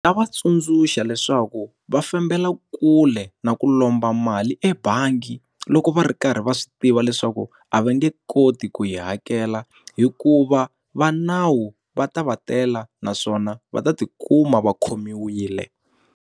va tsundzuxa leswaku va fambela kule na ku lomba mali ebangi loko va ri karhi va swi tiva leswaku a va nge koti ku yi hakela, hikuva va nawu va ta va tela naswona va ta ti kuma va khomiwile.